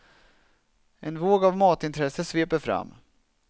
En våg av matintresse sveper fram.